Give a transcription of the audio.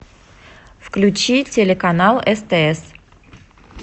включи телеканал стс